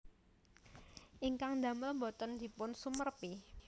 Ingkang ndamel boten dipun sumerepi